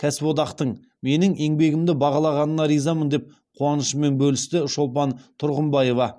кәсіподақтың менің еңбегімді бағалағанына ризамын деп қуанышымен бөлісті шолпан тұрғымбаева